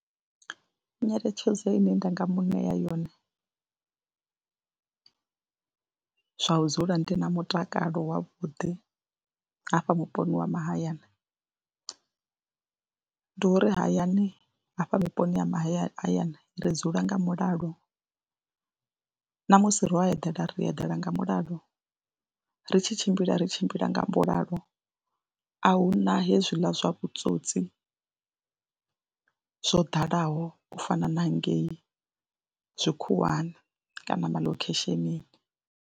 Nyeletshedzo ine nda nga mu ṋea yone zwa u dzula ndi na mutakalo wavhuḓi hafha vhuponi ha mahayani ndi uri hayani hafha vhuponi ha mahayani hayani ri dzula nga mulalo na musi ro a eḓela ri eḓela nga mulalo, ri tshi tshimbila ri tshimbila nga mulalo, a hu na hezwiḽa zwa vhutswotsi zwo ḓalaho u fana na hangei tshikhuwani kana malokheshenini.